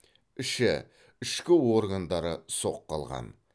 іші ішкі органдары соққы алған